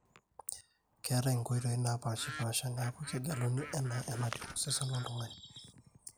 keetai inkoitoi naapaashipaasha neeku kegeluni enaa enatiu osesen loltung'ani